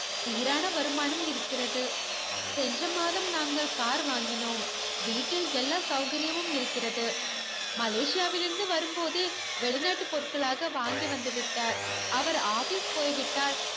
சீரான வருமானம் இருக்கிறது சென்ற மாதம் நாங்கள் car வாங்கினோம் வீட்டில் எல்லா சவ்கரியமும் இருக்கிறது மலேசியாவில் இருந்து வரும் போதே வெளிநாட்டு பொருட்களாக வாங்கி வந்து விட்டார் அவர் office போய்விட்டால்